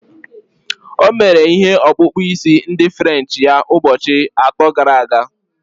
O mere ihe okpukpu isi ndi french ya ụbọchị atọ gara aga